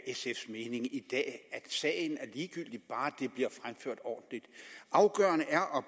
sf’s mening i dag at sagen er ligegyldig bare den bliver fremført ordentligt afgørende er og